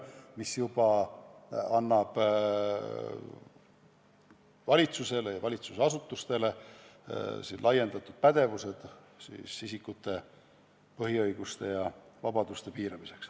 Ja see juba annab valitsusele ja valitsusasutustele laiendatud pädevuse isikute põhiõiguste ja -vabaduste piiramiseks.